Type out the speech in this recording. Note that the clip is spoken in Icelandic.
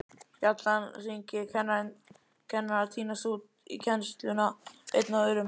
Bjallan hringir, kennarar tínast út í kennsluna einn af öðrum.